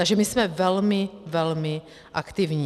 Takže my jsme velmi, velmi aktivní.